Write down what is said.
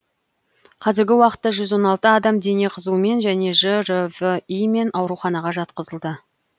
қазіргі уақытта жүз он алты адам дене қызуымен және жрви мен ауруханаға жатқызылды